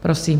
Prosím.